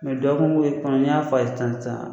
dɔgɔkun ye kɔnɔ n'i y'a fɔ a ye sisan sisan